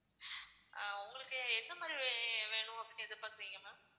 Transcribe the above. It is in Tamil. உங்களுக்கு எந்த மாதிரி வேணும் அப்படின்னு எதிர்பாக்குறீங்க ma'am